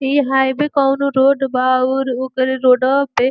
ई हाईवे कउनो रोड बा अउर उके रोडवा पे --